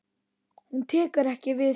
Hún tekur ekki við því.